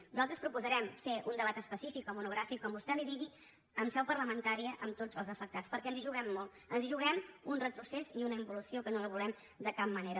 nosaltres proposarem fer un debat específic o monogràfic com vostè en digui en seu parlamentària amb tots els afectats perquè ens hi juguem molt ens hi juguem un retrocés i una involució que no la volem de cap manera